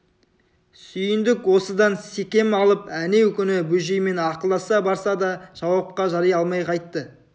сүйіндік осыдан секем алып әнеу күні бөжеймен ақылдаса барса да жауапқа жари алмай қайтты